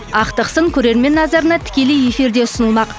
ақтық сын көрермен назарына тікелей эфирде ұсынылмақ